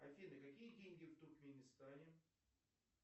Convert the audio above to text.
афина какие деньги в туркменистане